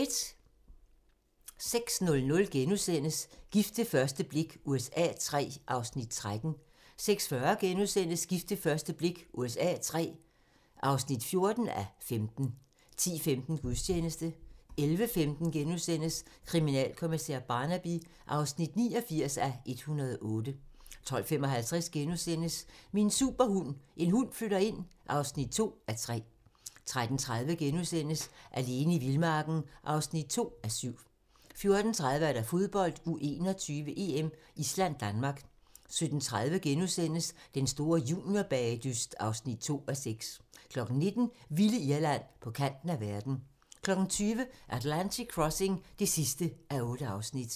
06:00: Gift ved første blik USA III (13:15)* 06:40: Gift ved første blik USA III (14:15)* 10:15: Gudstjeneste 11:15: Kriminalkommissær Barnaby (89:108)* 12:55: Min superhund: En hund flytter ind (2:3)* 13:30: Alene i vildmarken (2:7)* 14:30: Fodbold: U21-EM: Island-Danmark 17:30: Den store juniorbagedyst (2:6)* 19:00: Vilde Irland - på kanten af verden 20:00: Atlantic Crossing (8:8)